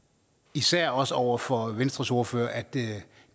især også over for venstres ordfører at det